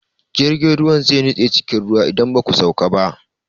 Jirgin ruwan zai nutse cikin ruwa idan ba ku sauka ba.